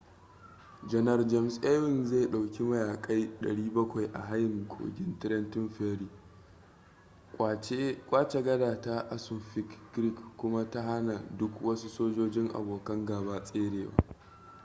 janar james ewing zai dauki mayaƙai 700 a hayin kogin trenton ferry kwace gada ta assunpink creek kuma ta hana duk wasu sojojin abokan gaba tserewa